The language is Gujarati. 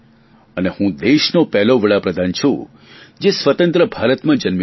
અને હું દેશનો પહેલો વડાપ્રધાન છું જે સ્વતંત્ર ભારતમાં જન્મ્યો છું